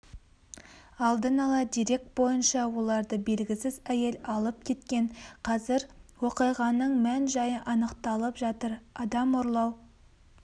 алдын ала дерек бойынша оларды белгісіз әйел алып кеткен қазір оқиғаның мән-жайы анықталып жатыр адам ұрлау